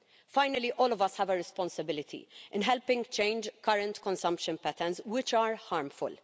Finally, all of us have a responsibility in helping to change current consumption patterns, which are harmful.